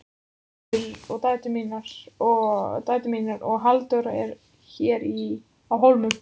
Og dætur mínar og Halldóra eru hér á Hólum.